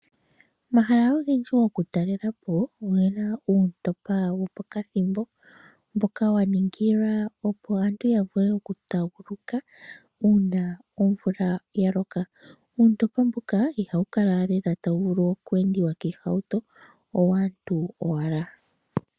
Omahala ogendji gokutalela po ogena uuntopa wo pakathimbo. Mboka wa ningila opo aantu ya vule okutaguluka uuna omvula ya loka. Uuntopa mbuka ihawu kala lela ta wu vulu oku endiwa kiihauto owaantu owala.